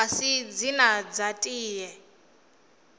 a si dzine dza tea